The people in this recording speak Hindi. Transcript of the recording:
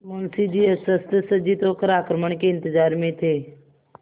मुंशी जी अस्त्रसज्जित होकर आक्रमण के इंतजार में थे